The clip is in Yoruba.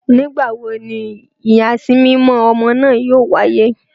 Nigbawo ni iyasimimọ ọmọ naa yoo waye?